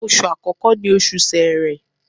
Oṣù àkọ́kọ́ ni Oṣù Sẹẹ̀rẹ